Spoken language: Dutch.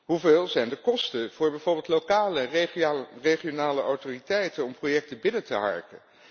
Hoe hoog zijn de kosten voor bijvoorbeeld lokale regionale autoriteiten om projecten binnen te harken?